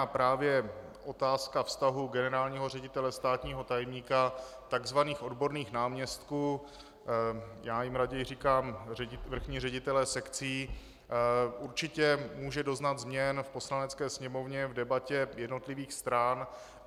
A právě otázka vztahu generálního ředitele, státního tajemníka, tzv. odborných náměstků, já jim raději říkám vrchní ředitelé sekcí, určitě může doznat změn v Poslanecké sněmovně v debatě jednotlivých stran.